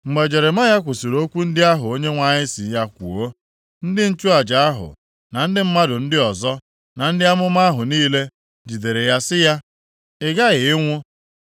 Mgbe Jeremaya kwusiri okwu ndị ahụ Onyenwe anyị sị ya kwuo, ndị nchụaja ahụ, na ndị mmadụ ndị ọzọ, na ndị amụma ahụ niile, jidere ya sị ya, “Ị ghaghị ịnwụ!